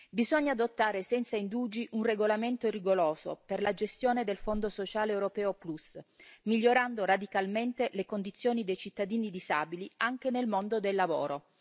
Bisogna adottare senza indugi un regolamento rigoroso per la gestione del Fondo sociale europeo Plus, migliorando radicalmente le condizioni dei cittadini disabili anche nel mondo del lavoro.